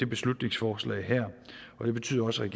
beslutningsforslag og det betyder også at